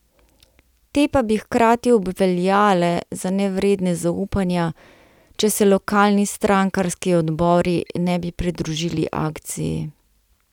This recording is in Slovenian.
Te pa bi hkrati obveljale za nevredne zaupanja, če se lokalni strankarski odbori ne bi pridružili akciji.